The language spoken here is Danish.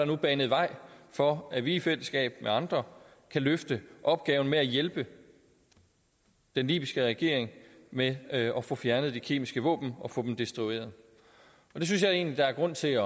nu banet vej for at vi i fællesskab med andre kan løfte opgaven med at hjælpe den libyske regering med at at få fjernet de kemiske våben og få dem destrueret det synes jeg egentlig der er grund til at